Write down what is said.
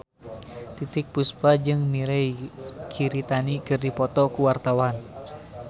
Titiek Puspa jeung Mirei Kiritani keur dipoto ku wartawan